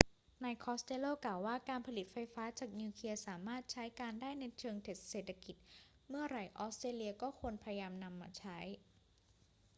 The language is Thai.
นายคอสเตลโลกล่าวว่า การผลิตไฟฟ้าจากนิวเคลียร์สามารถใช้การได้ในเชิงเศรษฐกิจเมื่อไร ออสเตรเลียก็ควรจะพยายามนำมาใช้